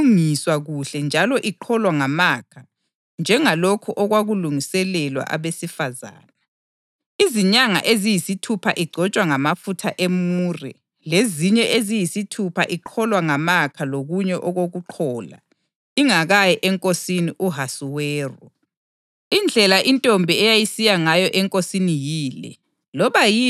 Intombi yayiqeda izinyanga eziyisithupha igcotshwa, ilungiswa kuhle njalo iqholwa ngamakha njengalokho okwakulungiselelwa abesifazane; izinyanga eziyisithupha igcotshwa ngamafutha emure lezinye eziyisithupha iqholwa ngamakha lokunye okokuqhola, ingakayi eNkosini u-Ahasuweru.